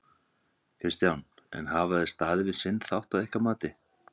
Kristján: En hafa þeir staðið við sinn þátt að ykkar mati?